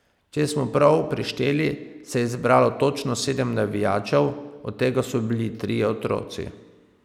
Če smo prav prešteli, se je zbralo točno sedem navijačev, od tega so bili trije otroci.